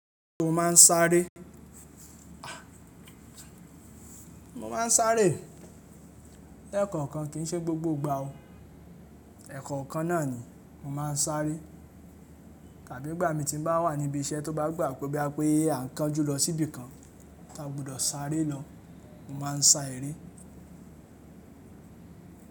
Mo ma n sáré, mo ma n sáré ẹ̀kọ̀kan kì í ṣe gbogbo ìgbà o. Ẹ̀kọ̀kan náà ni mo ma n sáré. Tàbí ìgbà mi tí n bá wà níbi iṣẹ́ tó bá gbà pé bí a pé a n kánjú lọ sí ibìkan tí a gbọdọ̀ sáré lọ mo ma n sa eré.